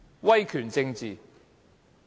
威權政治？